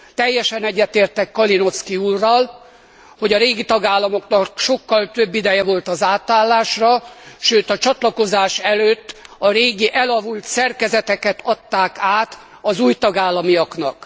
Teljesen egyetértek Kalinowski úrral, hogy a régi tagállamoknak sokkal több ideje volt az átállásra, sőt a csatlakozás előtt a régi elavult szerkezeteket adták át az új tagállamiaknak.